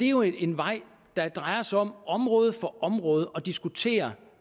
jo en vej der drejer sig om område for område at diskutere